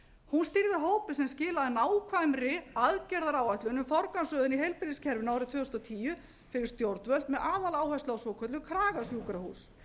hópi sem skilaði nákvæmri aðgerðaráætlun um forgangsröðun í heilbrigðiskerfinu árið tvö þúsund og tíu fyrir stjórnvöld með aðaláherslu á svokölluð kragasjúkrahús